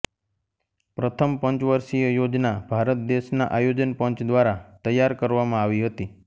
પ્રથમ પંચવર્ષીય યોજના ભારત દેશના આયોજન પંચ દ્વારા તૈયાર કરવામાં આવી હતી